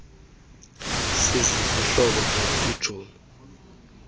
sizizihlobo gxebe itshomi